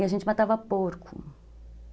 E a gente matava porco.